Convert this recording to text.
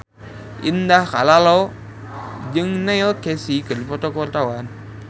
Indah Kalalo jeung Neil Casey keur dipoto ku wartawan